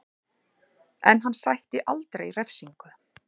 En hann sætti aldrei refsingu